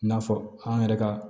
N'a fɔ an yɛrɛ ka